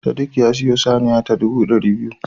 Sadiq ya siyo saniya ta ɗubu ɗari biyu